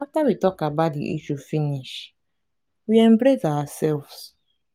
after we talk about the issue finish we embrace ourselves